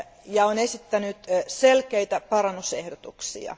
ja esittänyt selkeitä parannusehdotuksia.